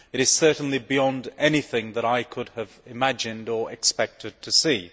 It is certainly beyond anything that I could have imagined or expected to see.